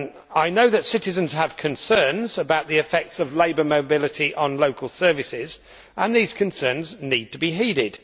I know that citizens have concerns about the effects of labour mobility on local services, and these concerns need to be heeded.